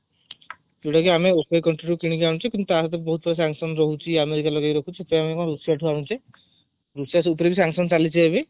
ଯୋଉଟା କି ମଏ country ରୁ କିଣିକି ଅନୁଛେ କିନ୍ତୁ ତାଭିତରେ ବହୁତ କିଛି sanction ରହୁଛି ଆମେରିକା ଲୋକ ଯିଏ ରଖୁଛି ସେଥିପାଇଁ ଆମେ ରୁଷିଆଠୁ ଅନୁଛେ ରୁଷିଆ ସହିତ ବି ଏବେ sanction ଚାଲିଛି